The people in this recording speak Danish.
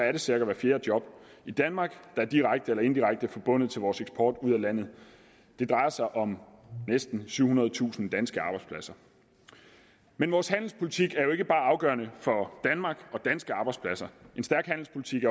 er det cirka hvert fjerde job i danmark der direkte eller indirekte er forbundet til vores eksport ud af landet det drejer sig om næsten syvhundredetusind danske arbejdspladser men vores handelspolitik er ikke bare afgørende for danmark og danske arbejdspladser en stærk handelspolitik